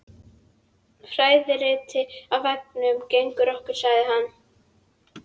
Fræðirit á veggnum gegnt okkur sagði hann.